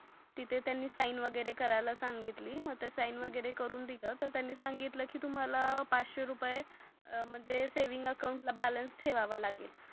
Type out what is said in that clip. तिथे त्यांनी साइनवगेरे करायला सांगितली मग ते साइन वगेरे करून दिल तर त्यांनी सांगितल की तुम्हाला पाचसे रूपेय म्हणजे सेव्हिंग अकाउंट बॅलेनस ठेवावा लागेल.